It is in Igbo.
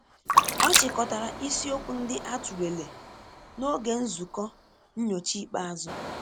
Ọ chịkọtara isi okwu ndị a tụlere n'oge nzukọ nnyocha ikpeazụ.